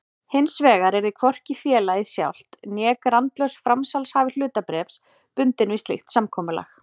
Hinsvegar yrði hvorki félagið sjálft né grandlaus framsalshafi hlutabréfs bundinn við slíkt samkomulag.